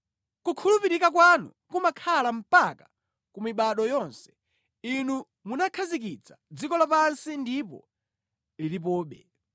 Kukhulupirika kwanu kumakhala mpaka ku mibado yonse; Inu munakhazikitsa dziko lapansi ndipo lilipobe.